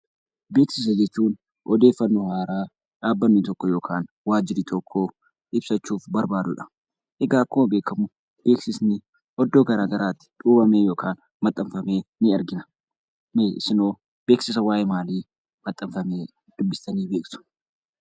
Beeksisa jechuun odeeffannoo haaraa dhabbanni tokko yookiin waajjirri tokko ibsachuu barbaadudha. Beeksisni iddoowwan adda addaatti manxanfama.